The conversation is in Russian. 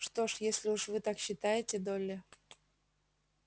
что ж если уж вы так считаете долли